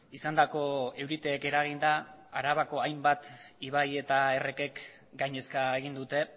izandako euriteek eraginda arabako hainbat ibai eta errekek gainezka egin dute